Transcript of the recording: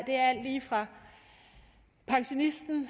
lige fra pensionisten